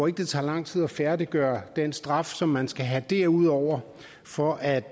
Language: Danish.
at det tager lang tid at færdiggøre den straf som man skal have derudover for at